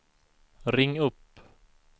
ring upp